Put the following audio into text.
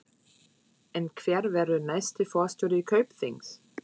En hver verður næsti forstjóri Kaupþings?